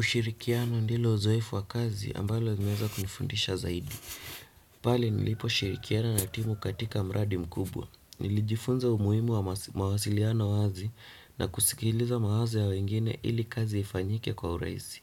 Ushirikiano ndilo uzoefu wa kazi ambalo uzmeza kunifundisha zaidi. Pale nilipo shirikiana na timu katika mradi mkubwa. Nilijifunza umuhimu wa mawasiliano wazi na kusikiliza mawazo ya wengine ili kazi ifanyike kwa uraisi.